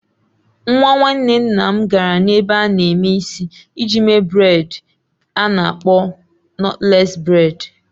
Nwa nwanne nna m gara n'ebe a na-eme isi iji mee bredị a na-akpọ nọtles bredị.